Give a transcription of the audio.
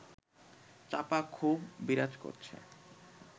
চাপা ক্ষোভ বিরাজ করছে